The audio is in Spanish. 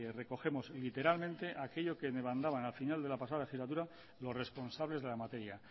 recogemos literalmente aquello que demandaban al final de la pasada legislatura los responsables de la materia